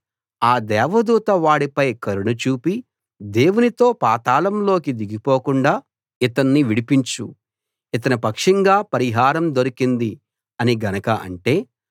ఆ దేవదూత వాడిపై కరుణ చూపి దేవునితో పాతాళంలోకి దిగిపోకుండా ఇతన్ని విడిపించు ఇతని పక్షంగా పరిహారం దొరికింది అని గనక అంటే